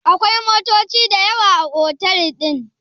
akwai motoci da yawa a otal din?